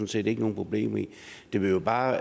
set ikke nogen problemer med det vil bare